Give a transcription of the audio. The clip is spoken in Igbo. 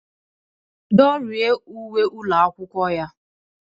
Dịrị uwe ụlọ akwụkwọ ya.